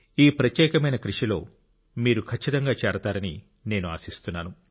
ఈ ప్రత్యేకమైన కృషిలో మీరు ఖచ్చితంగా చేరతారని నేను ఆశిస్తున్నాను